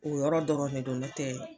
O yɔrɔ dɔrɔn de don nɔtɛɛ